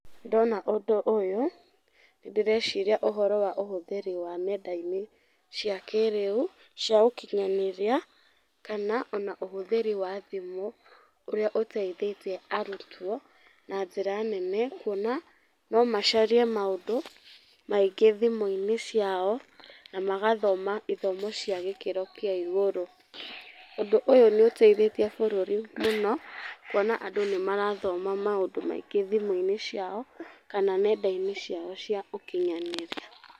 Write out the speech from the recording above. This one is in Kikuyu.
Ndona ũndũ ũyũ, ndĩreciria ũhoro wa ũhũthĩri wa nenda-inĩ cia kĩrĩu, cia ũkinyanĩria, kana ona ũhũthĩri wa thimũ, ũrĩa ũteithĩtie arutwo na njĩra nene, kũona nomacarie maũndũ, maingĩ thimũ-inĩ ciao, na magathoma ithomo cĩa gĩkĩro kĩa igũrũ, ũndũ ũyũ nĩũteithĩtie bũrũri mũno, kuona andũ nĩmarathoma maũndũ maingĩ thimũ-inĩ ciao kana nenda-inĩ ciao cia ũkinyanĩria.